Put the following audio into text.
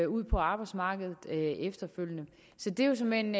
ud på arbejdsmarkedet efterfølgende det er såmænd